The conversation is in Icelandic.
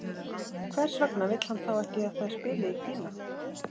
Hvers vegna vill hann þá ekki að þær spili í Kína?